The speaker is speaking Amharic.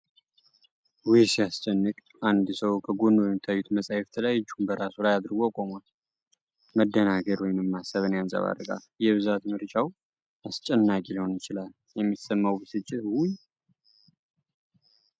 ውይ ሲያስጨንቅ! አንድ ሰው ከጎኑ በሚታዩት መጻሕፍት ላይ እጁን በራሱ ላይ አድርጎ ቆሟል። መደናገር ወይንም ማሰብን ያንጸባርቃል። የብዛት ምርጫው አስጨናቂ ሊሆን ይችላል። የሚሰማው ብስጭት ውይ!! ።